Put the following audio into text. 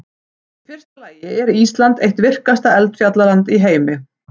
Í fyrsta lagi er Ísland eitt virkasta eldfjallaland í heimi.